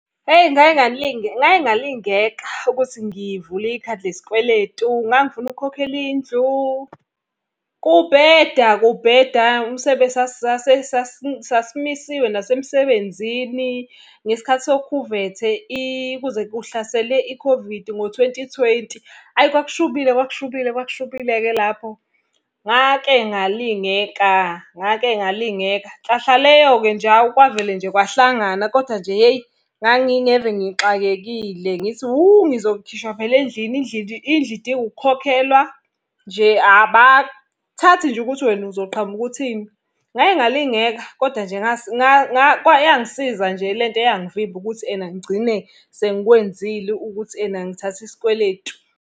Hheyi ngake ngalingeka ukuthi ngivule ikhadi lesikweletu, ngangifuna ukukhokhela indlu. Kubheda kubheda, sasimisiwe nasemsebenzini. Ngesikhathi sokhuvethe kuze kuhlasele i-COVID ngo twenty twenty, ayi kwakushubile kwakushubile kwakushubile-ke lapho. Ngake ngalingeka, ngake ngalingeka, nhlahla leyo-ke nje hhawu kwavele nje kwahlangana, koda nje hheyi ngangingeve ngixakekile ngithi hhu ngizokhishwa phela endlini endlini indlu idinga ukukhokhelwa. Nje abathathi nje ukuthi wena uzoqhamuka uthini. Ngake ngalingeka, kodwa nje yangisiza nje lento eyangivimba ukuthi ena, ngigcine sengikwenzile ukuthi ena ngithathe isikweletu.